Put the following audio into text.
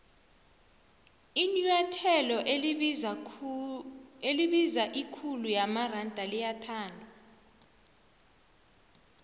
inuathelo elibiza ikhulu yamaronda liyathandwa